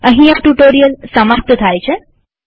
અહીં આ ટ્યુ્ટોરીઅલ સમાપ્ત થાય છે